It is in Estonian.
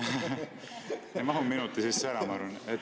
Ei mahu minuti sisse ära, ma arvan.